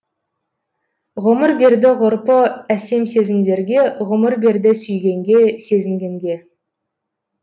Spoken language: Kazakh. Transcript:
ғұмыр берді ғұрпы әсем сезімдерге ғұмыр берді сүйгенге сезінгенге